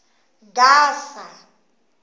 gasa